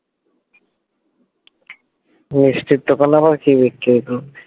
মিষ্টির দোকানে আবার কি বিক্রি